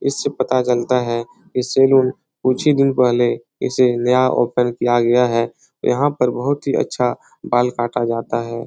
इससे पता चलता है की सैलून कुछ ही दिन पहले इसे नया ओपन किया गया है यहाँ पर बहुत ही अच्छा बाल काटा जाता है।